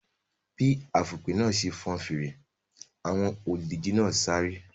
Bí afùnpè náà ṣe fọn fèrè, àwọn olùdíje náà sáré.